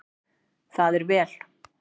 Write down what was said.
Það er vel